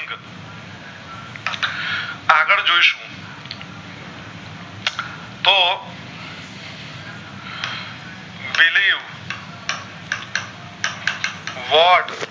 what